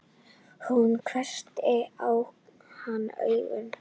Hún hvessti á hann augun.